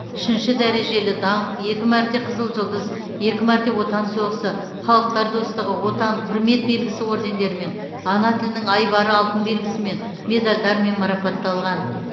үшінші дәрежелі даңқ екі мәрте қызыл жұлдыз екі мәрте отан соғысы халықтар достығы отан құрмет белгісі ордендерімен ана тілінің айбары алтын белгісімен медальдармен марапатталған